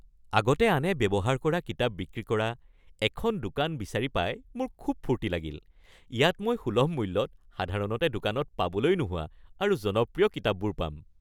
আগতে আনে ব্যৱহাৰ কৰা কিতাপ বিক্ৰী কৰা এখন দোকান বিচাৰি পাই মোৰ খুব ফূৰ্তি লাগিল। ইয়াত মই সুলভ মূল্যত সাধাৰণতে দোকানত পাবলৈ নোহোৱা আৰু জনপ্ৰিয় কিতাপবোৰ পাম।